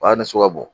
O y'a ni sugu ka bon